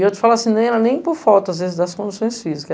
E eu te falo assim, nem era nem por falta, às vezes, das condições físicas.